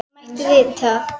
Þá mætti rita